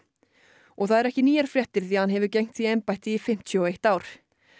og það eru ekki nýjar fréttir því hann hefur gegnt því embætti í fimmtíu og eitt ár